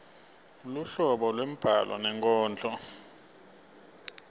luhlobo lwembhalo nenkondlo